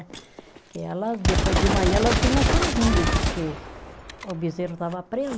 Que elas, depois de manhã, elas vinha sozinha, porque o bezerro estava preso